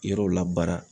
Yɔrɔw labara